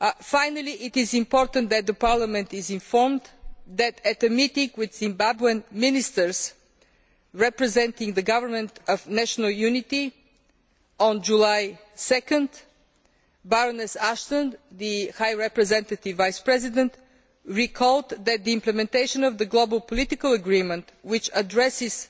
Finally, it is important that Parliament is informed that, at a meeting with Zimbabwean Ministers representing the Government of National Unity on 2 July, Baroness Ashton, the High Representative and Vice President, recalled that the implementation of the global political agreement, which addresses